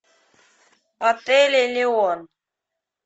отель элеон